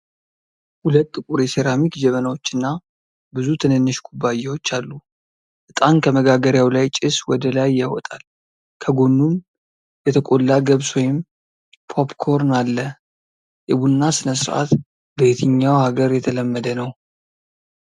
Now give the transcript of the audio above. ሁለት ጥቁር የሴራሚክ ጀበናዎችና ብዙ ትንንሽ ኩባያዎች አሉ። ዕጣን ከመጋገሪያው ላይ ጭስ ወደ ላይ ያወጣል፤ ከጎኑም የተቆላ ገብስ ወይም ፖፕኮርን አለ። የቡና ስነስርዓት በየትኛው ሀገር የተለመደ ነው?